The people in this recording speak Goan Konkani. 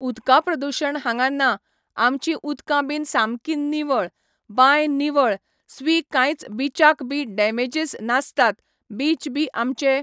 उदका प्रदुशण हांगा ना आमचीं उदकां बीन सामकी निवळ बांय निवळ स्वि कांयच बिचाक बी डेमेजीस नासतात बीच बी आमचे